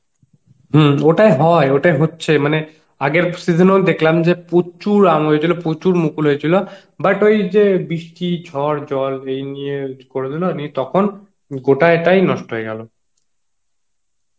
হম ওটাই হয় ওটাই হচ্ছে মানে আগের season এ ও দেখলাম যে প্রচুর আম হয়েছিল প্রচুর মুকুল হয়েছিল but ওই যে বৃষ্টি ঝড় জল নিয়ে, এই নিয়ে করেদিল নিয়ে তখন গোটা এটাই নষ্ট হয়ে গেল